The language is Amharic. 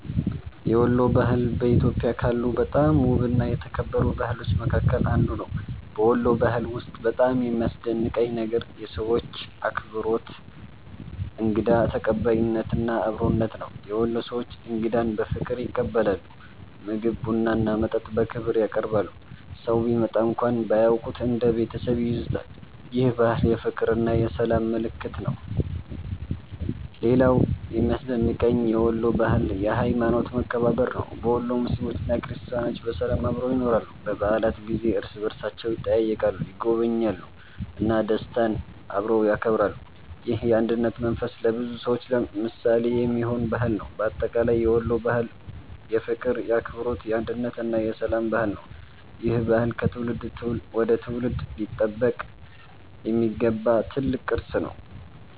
የወሎ ባህል በኢትዮጵያ ካሉ በጣም ውብና የተከበሩ ባህሎች መካከል አንዱ ነው። በወሎ ባህል ውስጥ በጣም የሚያስደንቀኝ ነገር የሰዎቹ አክብሮት፣ እንግዳ ተቀባይነት እና አብሮነት ነው። የወሎ ሰዎች እንግዳን በፍቅር ይቀበላሉ፤ ምግብ፣ ቡና እና መጠጥ በክብር ያቀርባሉ። ሰው ቢመጣ እንኳን ባያውቁት እንደ ቤተሰብ ይይዙታል። ይህ ባህል የፍቅርና የሰላም ምልክት ነው። ሌላው የሚያስደንቀኝ የወሎ ባህል የሀይማኖት መከባበር ነው። በወሎ ሙስሊሞችና ክርስቲያኖች በሰላም አብረው ይኖራሉ። በበዓላት ጊዜ እርስ በእርሳቸው ይጠያየቃሉ፣ ይጎበኛሉ እና ደስታን አብረው ያከብራሉ። ይህ የአንድነት መንፈስ ለብዙ ሰዎች ምሳሌ የሚሆን ባህል ነው። በአጠቃላይ የወሎ ባህል የፍቅር፣ የአክብሮት፣ የአንድነት እና የሰላም ባህል ነው። ይህ ባህል ከትውልድ ወደ ትውልድ ሊጠበቅ የሚገባው ትልቅ ቅርስ ነው።